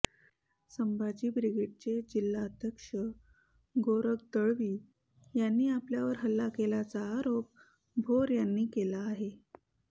संभाजी ब्रिगेडचे जिल्हाध्यक्ष गोरख दळवी यांनी आपल्यावर हल्ला केल्याचा आरोप भोर यांनी केला आहे